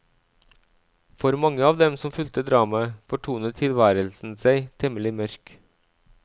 For mange av dem som fulgte dramaet, fortonet tilværelsen seg temmelig mørk.